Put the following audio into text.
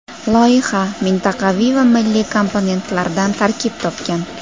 Loyiha mintaqaviy va milliy komponentlardan tarkib topgan.